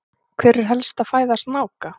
hver er helsta fæða snáka